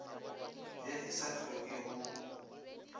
ye e sa hlokeng go